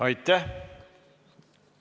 Aitäh!